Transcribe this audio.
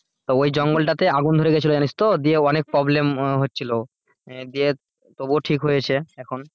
তো ওই জঙ্গলটাতে আগুন ধরে গিয়েছিলো জানিস তো দিয়ে অনেক problem হচ্ছিলো দিয়ে তবু ঠিক হয়েছে এখন.